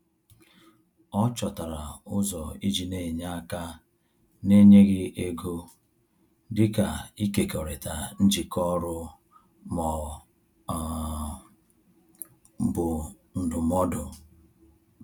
Ọ chọtara ụzọ iji n'enye aka na-enyeghị ego, dịka ịkekọrịta njikọ ọrụ ma ọ um bụ ndụmọdụ. um